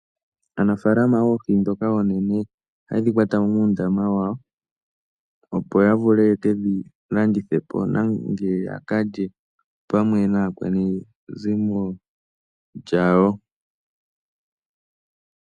Aanafaalama ohaya kwata oohi ndhoka oonene muundama wawo, opo ya vule ye ke dhi landithe po nenge ya ka lye naakwanezimo lya wo.